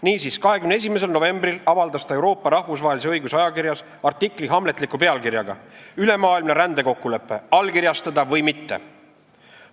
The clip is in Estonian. Niisiis, 21. novembril avaldas ta Euroopa rahvusvahelise õiguse ajakirjas artikli hamletliku pealkirjaga "Ülemaailmne rändekokkulepe: allkirjastada või mitte?".